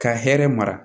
Ka hɛrɛ mara